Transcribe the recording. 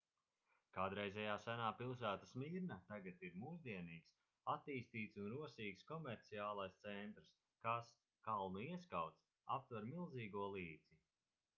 kādreizējā senā pilsēta smirna tagad ir mūsdienīgs attīstīts un rosīgs komerciālais centrs kas kalnu ieskauts aptver milzīgo līci